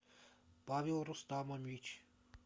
павел рустамович